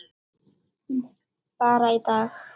Bara í dag.